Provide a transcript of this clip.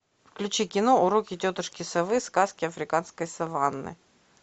включи кино уроки тетушки совы сказки африканской саванны